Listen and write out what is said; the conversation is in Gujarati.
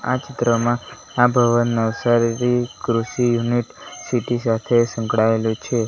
આ ચિત્રમાં આ ભવન નવસારી રી કૃષિ યુનિટ સીટી સાથે સંકળાયેલો છે.